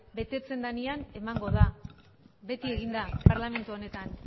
betetzen denean emango da beti egin da parlamentu honetan